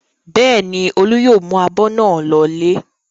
Bẹ́ẹ̀ ni, Olú yóò mú abọ́ náà lọlé.